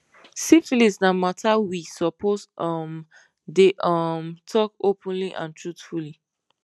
syphilis na matter we suppose um dey um talk openly and truthfully